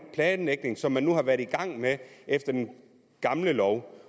planlægning som man nu har været i gang med efter den gamle lov